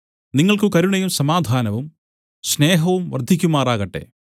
നിങ്ങൾക്ക് കരുണയും സമാധാനവും സ്നേഹവും വർദ്ധിക്കുമാറാകട്ടെ